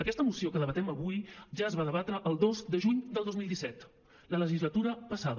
aquesta moció que debatem avui ja es va debatre el dos de juny del dos mil disset la legislatura passada